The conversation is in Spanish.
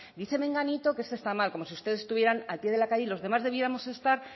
dice menganito que esto está mal como si ustedes estuvieran al pie de la calle y los demás debiéramos estar